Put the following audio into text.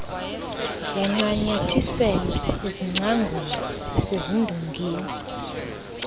yancanyathiselwa ezingcangweni nasezindongeni